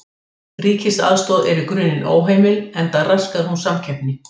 Ríkisaðstoð er í grunninn óheimil enda raskar hún samkeppni.